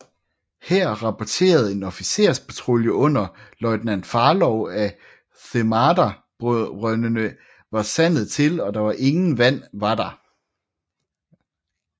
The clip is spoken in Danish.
Her rapporterede en officerspatrulje under løjtnant Farlow af Themada brøndene var sandet til og at der ingen vand var der